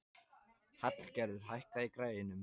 Hallgerður, hækkaðu í græjunum.